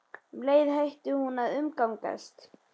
Og um leið hætti hún að umgangast